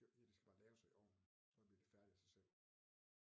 Ja det skal bare laves og i ovnen så bliver det færdigt af sig selv